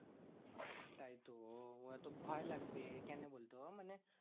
তাইতো ওরা তো ভয় লাগবে। কেন বলতো? মানে